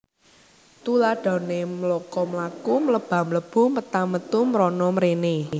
Tuladhané mloka mlaku mleba mlebu meta metu mrana mréné